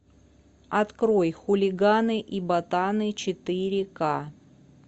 открой хулиганы и ботаны четыре ка